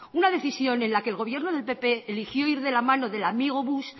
una decisión en la que el gobierno del pp eligió ir de la mano del amigo bush